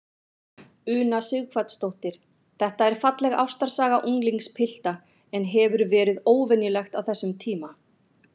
Una Sighvatsdóttir: Þetta er falleg ástarsaga unglingspilta, en hefur verið óvenjulegt á þessum tíma?